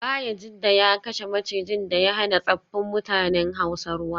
Bayajidda ya kashe macijin da ya hana tsaffin mutanen hausa ruwa